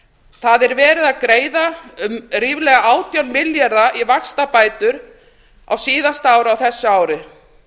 það er verið að greiða um ríflega átján milljarða í vaxtabætur á síðasta ári á þessu ári